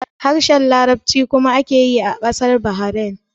Harshen Larabci kuma ake yi a ƙasar Bahrain